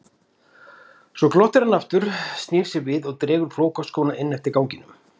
Svo glottir hann aftur, snýr sér við og dregur flókaskóna inn eftir ganginum.